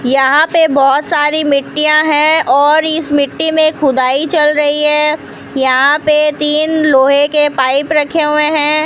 यहां पे बहुत सारी मिट्टीयां हैं और इस मिट्टी में खुदाई चल रही है यहां पे तीन लोहे के पाइप रखे हुए हैं।